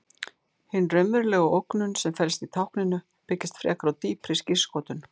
Hin raunverulega ógnun sem felst í tákninu byggist frekar á dýpri skírskotun.